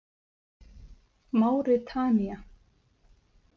Máritanía